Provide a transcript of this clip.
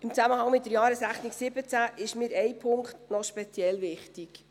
Im Zusammenhang mit der Jahresrechnung 2017 ist mir ein Punkt noch speziell wichtig.